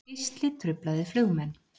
Geisli truflaði flugmenn